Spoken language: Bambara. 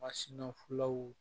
Masinaw